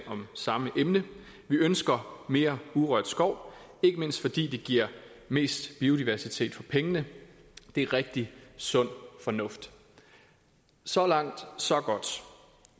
om samme emne vi ønsker mere urørt skov ikke mindst fordi det giver mest biodiversitet for pengene det er rigtig sund fornuft så langt så godt